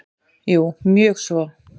Jú mjög svo.